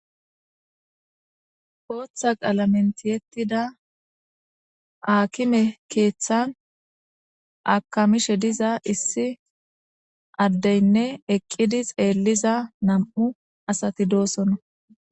Botha qalamen tiyetida hakime kethathan akamishe diza issi adeyine eqidi xeliza nam7u assati dosona.